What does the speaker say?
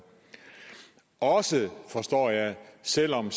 også forstår jeg selv om